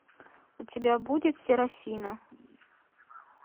у тебя будет серафина